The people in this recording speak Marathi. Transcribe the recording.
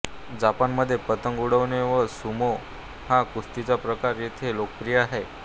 जपानमध्ये पतंग उडवणे व सुमो हा कुस्तीचा प्रकार येथे लोकप्रिय आहे